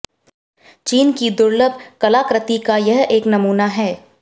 चीन की दुर्लभ कलाकृति का यह एक नमूना है